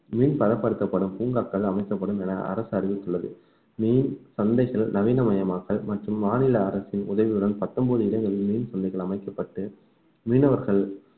மீன் பதப்படுத்தப்படும் பூங்காக்கள் அமைக்கப்படும் என அரசு அறிவித்துள்ளது மீன் சந்தைகள் நவீனமயமாக்கல் மற்றும் மாநில அரசின் உதவியுடன் பத்தொன்பது இடங்களிலும் மீன் சந்தைகள் அமைக்கப்பட்டு மீனவர்கள்